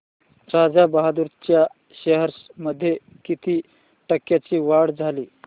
राजा बहादूर च्या शेअर्स मध्ये किती टक्क्यांची वाढ झाली